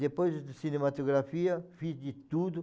Depois de cinematografia, fiz de tudo.